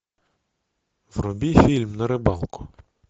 вруби фильм на рыбалку